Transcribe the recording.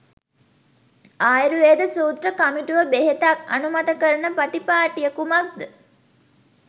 ආයුර්වේද සූත්‍ර කමිටුව බෙහෙතක් අනුමත කරන පටිපාටිය කුමක්ද?